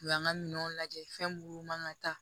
U y'an ka minɛnw lajɛ fɛn munnu man ka taa